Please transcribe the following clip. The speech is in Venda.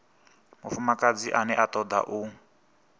mufumakadzi ane a toda u